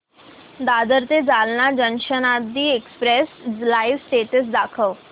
दादर ते Jalna Janshatabdi express live status दाखव